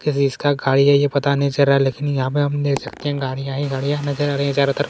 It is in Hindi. किसी इसका खाई हैं ये पता नहीं चल रहा हैं लेकिन यहाँ पे हम देख सकते हैं गाड़िया ही गाड़िया नज़र आ रही हैं चारों तरफ--